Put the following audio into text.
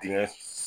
Dingɛ